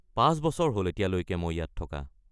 ৫ বছৰ হ'ল এতিয়ালৈকে মই ইয়াত থকা।